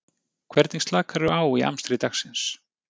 Hvernig slakar þú á í amstri dagsins?